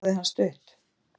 Þar stoppaði hann stutt.